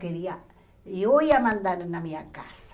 Queria eu ia mandar na minha casa.